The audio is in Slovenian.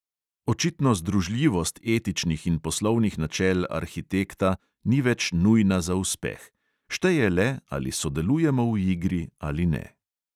Očitno združljivost etičnih in poslovnih načel arhitekta ni več nujna za uspeh – šteje le, ali sodelujemo v igri ali ne.